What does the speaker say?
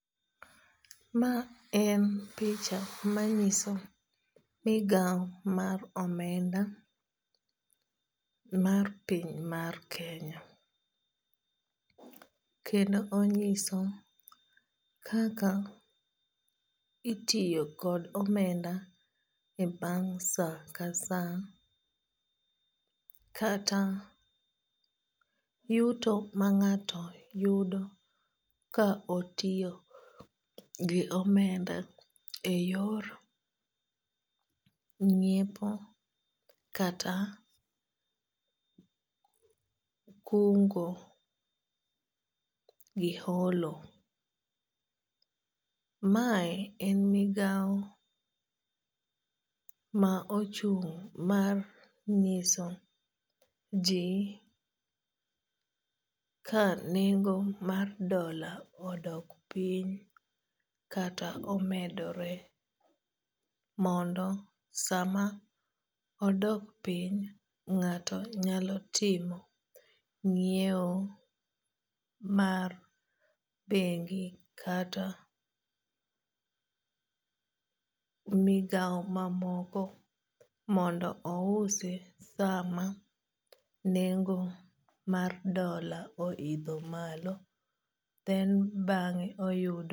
Ma en picha manyiso migao mar omenda mar piny mar Kenya. Kendo onyiso kaka itiyo kod omenda e bang' sa ka sa kata yuto ma ng'ato yudo ka otiyo gi omenda e yor ng'iepo kata kungo gi holo. Mae en migawo ma ochung' ma ng'iso ji ka nengo mar dola odok piny kata omedore mondo sama odok piny ng'ato nyalo timo ng'iewo mar bengi kata migaw mamoko mondo ousi sama nengo mar dola o idho malo then bang'e oyudo